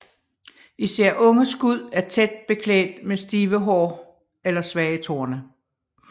Især unge skud er tæt beklædt med stive hår eller svage torne